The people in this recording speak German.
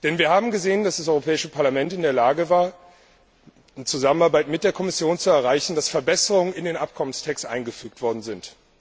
Denn wir haben gesehen, dass das Europäische Parlament in der Lage war, in Zusammenarbeit mit der Kommission zu erreichen, dass Verbesserungen in den Abkommenstext eingefügt worden sind.